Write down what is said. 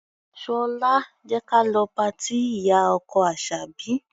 Ṣọlá, jẹ́ ka lọ patí ìyá-ọkọ Àṣàbí.